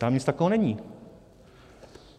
Tam nic takového není.